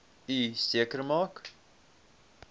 u seker maak